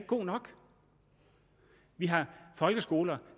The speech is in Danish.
god nok vi har folkeskoler